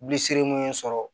Bilisirimu ye sɔrɔ